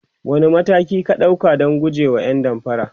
wani mataki ka ɗauka Dan gujewa ƴan damfara?